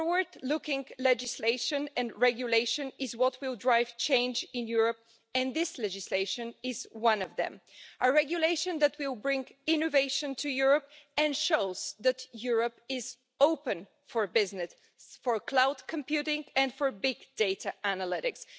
Forward-looking legislation and regulation is what will drive change in Europe and this legislation is one of them a regulation that will bring innovation to Europe and show that Europe is open for business, for cloud computing and for big data analytics.